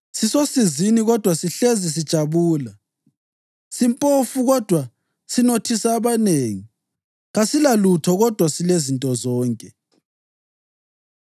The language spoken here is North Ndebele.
sisosizini kodwa sihlezi sijabula; simpofu kodwa sinothisa abanengi; kasilalutho kodwa silezinto zonke.